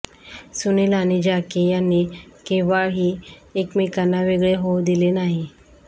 सुनील आणि जॅकी यांनी केव्हाही एकमेकांना वेगळे होऊ दिले नाही